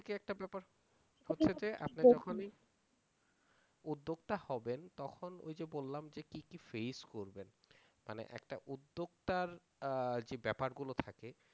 উদ্যোক্তা হবেন তখন ওই যে বললাম যে কি কি ফেস করবেন মানে একটা উদ্যোক্তার যে ব্যাপারগুলো থাকে